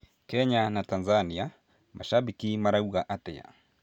Kenya na Tanzania; macambĩki marauga atia?